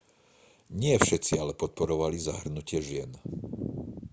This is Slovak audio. nie všetci ale podporovali zahrnutie žien